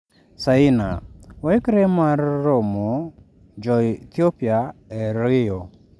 Saina: Waikre mar raromo jo Ethiopia e Rio